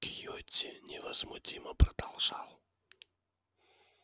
кьюти невозмутимо продолжал